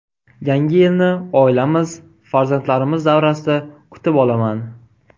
Yangi yilni oilamiz farzandlarimiz davrasida kutib olaman.